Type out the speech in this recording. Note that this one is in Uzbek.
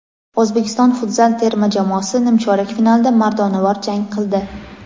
O‘zbekiston Futzal terma jamoasi nimchorak finalda mardonavor jang qildi.